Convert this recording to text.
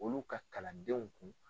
Olu ka kalan denw kun.